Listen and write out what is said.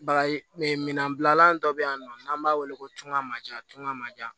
Bagay minɛnbilalan dɔ bɛ yen nɔ n'an b'a weele ko tunga majan tunga man jan